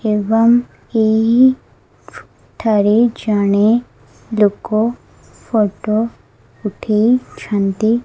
ଏବଂ ଏହି ଠାରେ ଜଣେ ଲୋକ ଫଟୋ ଉଠେଇଛନ୍ତି।